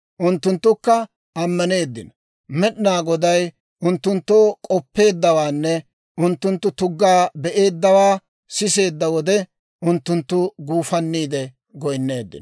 Unttunttukka ammaneeddino. Med'inaa Goday unttunttoo k'oppeeddawaanne unttunttu tuggaa be'eeddawaa siseedda wode, unttunttu guufanniide goynneeddino.